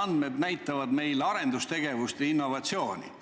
andmed näitavad meil arendustegevust ja innovatsiooni.